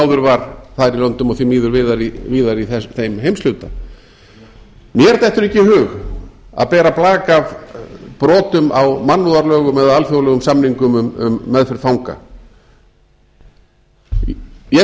áður var þar í löndum og því miður víðar í þeim heimshluta mér dettur ekki í hug að bera blak af brotum á mannúðarlögum eða alþjóðlegum samingum um meðferð fanga ég